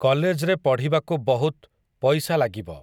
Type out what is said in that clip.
କଲେଜ୍‌ରେ ପଢ଼ିବାକୁ ବହୁତ୍, ପଇସା ଲାଗିବ ।